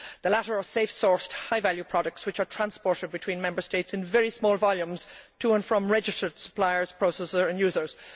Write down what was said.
the latter are safe sourced high value products which are transported between Member States in very small volumes to and from registered suppliers, processers and users.